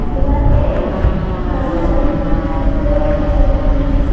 दीवार पे एक घड़ी लगाई हुई है जो कि भूरे और सफेद रंग की हैं।